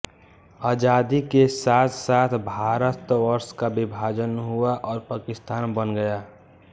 आजादी के साथसाथ भारतवर्ष का विभाजन हुआ और पाकिस्तान बन गया